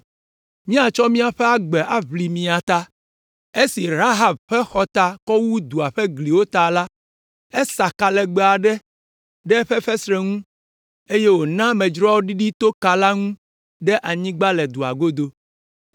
Míatsɔ míaƒe agbe aʋli mia ta.” Esi Rahab ƒe xɔta kɔ wu dua ƒe gliwo ta la, esa ka legbe aɖe ɖe eƒe fesreti ŋu, eye wòna amedzroawo ɖiɖi to ka la ŋu ɖe anyigba le dua godo.